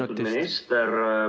Austatud minister!